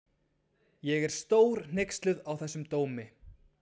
Ég er stórhneyksluð á þessum dómi.